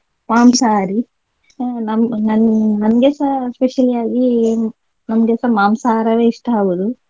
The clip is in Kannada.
ಮಾಂಸಹಾರಿ ಅಹ್ ನಮ್ಮ್~ ನನ್~ ನಂಗೆಸ especially ಆಗಿ ನಮ್ಗೆ ಸಹ ಮಾಂಸಹಾರವೇ ಇಷ್ಟ ಆಗುದು.